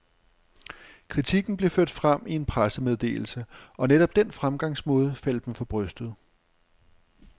Kritikken blev ført frem i en pressemeddelse, og netop den fremgangsmåde faldt dem for brystet.